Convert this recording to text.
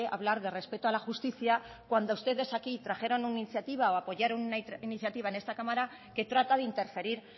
a hablar de respeto a la justicia cuando ustedes aquí trajeron una iniciativa o apoyaron una iniciativa en esta cámara que trata de interferir